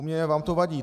U mě vám to vadí.